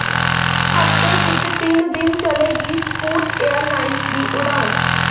ਹਫ਼ਤੇ ਵਿੱਚ ਤਿੰਨ ਦਿਨ ਚੱਲੇਗੀ ਸਕੂਟ ਏਅਰਲਾਈਨਜ਼ ਦੀ ਉਡਾਣ